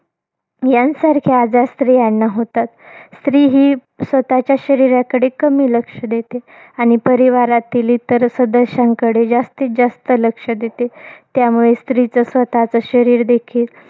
यांसारखे आजार स्त्रियांना होतात. स्त्री ही स्वतःच्या शरीराकडे कमी लक्ष देते. आणि परिवारातील इतर सदस्यांकडे जास्तीत जास्त लक्ष देते. त्यामुळे स्त्रीचं स्वतःचं शरीर देखील,